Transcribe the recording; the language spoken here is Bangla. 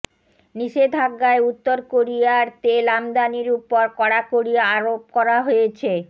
নিষেধাজ্ঞায় উত্তর কোরিয়ার তেল আমদানির ওপর কড়াকড়ি আরেপ করা হয়েছে